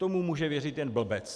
Tomu může věřit jen blbec.